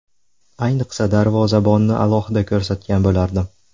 Ayniqsa darvozabonni alohida ko‘rsatgan bo‘lardim.